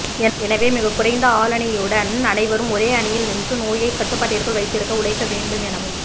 எனவே மிகக்குறைந்த ஆளணியுடன் அனைவரும் ஒரே அணியில் நின்று நோயை கட்டுப்பாட்டிற்குள் வைத்திருக்க உழைக்க வேண்டும் எனவும்